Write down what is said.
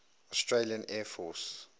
australian air force